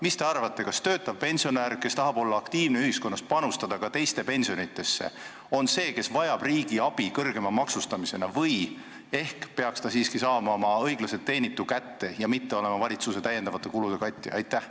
Mis te arvate, kas töötav pensionär, kes tahab ühiskonnas aktiivne olla ja panustada ka teiste pensionidesse, vajab riigi "abi" kõrgema maksustamisena või peaks ta siiski saama oma õiglaselt teenitu kätte, mitte olema valitsuse täiendavate kulude katja?